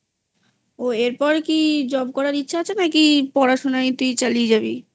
ও এরপর কি Job করার ইচ্ছা আছে নাকি পড়াশুনায় তুই চালিয়ে যাবি?